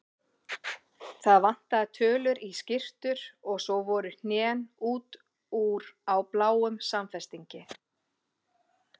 Það vantaði tölur í skyrtur og svo voru hnén út úr á bláum samfestingi.